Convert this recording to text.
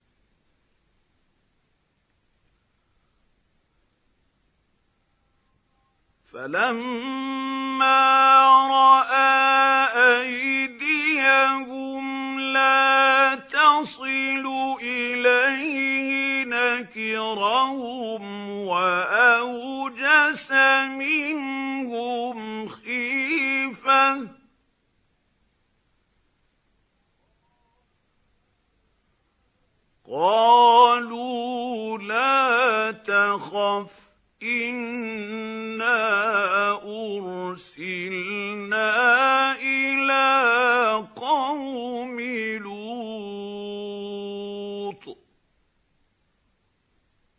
فَلَمَّا رَأَىٰ أَيْدِيَهُمْ لَا تَصِلُ إِلَيْهِ نَكِرَهُمْ وَأَوْجَسَ مِنْهُمْ خِيفَةً ۚ قَالُوا لَا تَخَفْ إِنَّا أُرْسِلْنَا إِلَىٰ قَوْمِ لُوطٍ